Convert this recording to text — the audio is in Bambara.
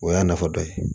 O y'a nafa dɔ ye